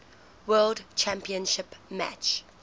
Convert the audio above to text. world championship match